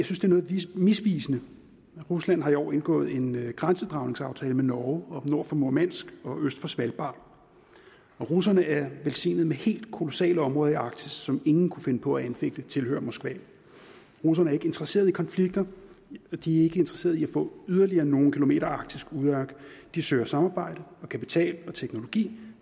noget misvisende rusland har i år indgået en grænsedragningsaftale med norge oppe nord for murmansk og øst for svalbard og russerne er velsignet med helt kolossale områder i arktis som ingen kunne finde på at anfægte tilhører moskva russerne er ikke interesseret i konflikter og de er ikke interesseret i at få yderligere nogle kilometer arktisk udørk de søger samarbejde og kapital og teknologi